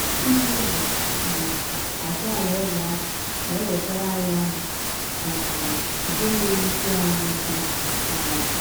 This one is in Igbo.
Ibụ ụzọ um achọ Alaeze ahụ na - ewetara anyị ọṅụ um nke na - ewụsi anyị ike um.